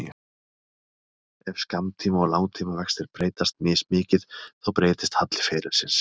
Ef skammtíma- og langtímavextir breytast mismikið þá breytist halli ferilsins.